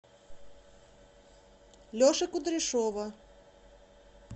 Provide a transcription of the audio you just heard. леши кудряшова